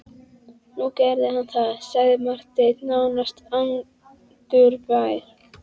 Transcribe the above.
Nú gerði hann það, sagði Marteinn nánast angurvær.